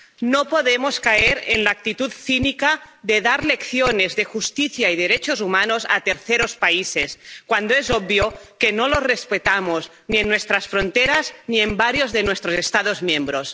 No podemos caer en la actitud cínica de dar lecciones de justicia y derechos humanos a terceros países, cuando es obvio que no los respetamos ni en nuestras fronteras ni en varios de nuestros Estados miembros.